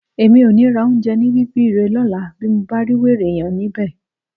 Èmi ò ní ra oúnjẹ ní Bíbiré lọ́la bí mo bá rí wèrè yẹn níbẹ̀